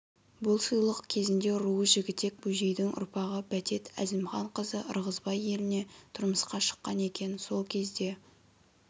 бұл сыйлық кезінде руы жігітек бөжейдің ұрпағы бәтет әзімханқызы ырғызбай еліне тұрмысқа шыққан екен сол кезде